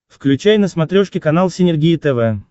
включай на смотрешке канал синергия тв